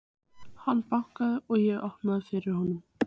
Það var Jón Bjarnason sem knúði dyra.